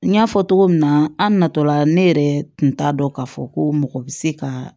N y'a fɔ cogo min na an natɔla ne yɛrɛ tun t'a dɔn k'a fɔ ko mɔgɔ bɛ se ka